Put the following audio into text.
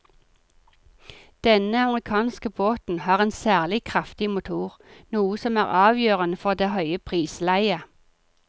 Denne amerikanske båten har en særlig kraftig motor, noe som er avgjørende for det høye prisleiet.